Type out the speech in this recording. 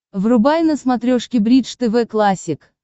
врубай на смотрешке бридж тв классик